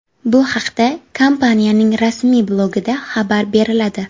Bu haqda kompaniyaning rasmiy blogida xabar beriladi.